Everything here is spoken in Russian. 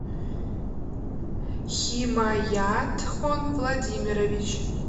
химаятхон владимирович